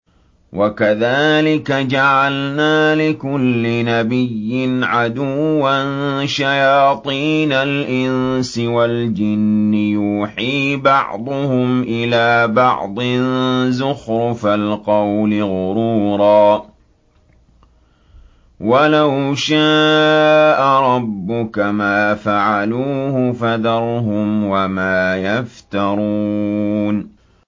وَكَذَٰلِكَ جَعَلْنَا لِكُلِّ نَبِيٍّ عَدُوًّا شَيَاطِينَ الْإِنسِ وَالْجِنِّ يُوحِي بَعْضُهُمْ إِلَىٰ بَعْضٍ زُخْرُفَ الْقَوْلِ غُرُورًا ۚ وَلَوْ شَاءَ رَبُّكَ مَا فَعَلُوهُ ۖ فَذَرْهُمْ وَمَا يَفْتَرُونَ